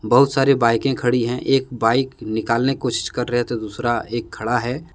बहुत सारे बाइकें खड़ी हैं एक बाइक निकालने की कोशिश कर रहे तो दूसरा एक खड़ा है।